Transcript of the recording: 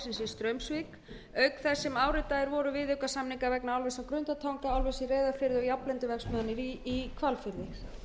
straumsvík auk þess sem áritaðir voru viðaukasamningar vegna álvers á grundartanga álvers í reyðarfirði og járnblendiverksmiðjunnar í hvalfirði